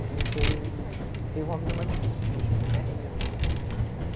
A gente teve uma vida mais difícil, os primeiros.